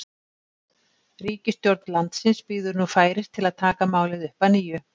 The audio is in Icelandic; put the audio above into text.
ríkisstjórn landsins bíður nú færis til að taka málið upp að nýju